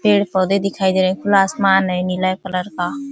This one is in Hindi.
पेड़ पौधे-दिखाई दे रहे हैं। खुला आसमान है नीले कलर का।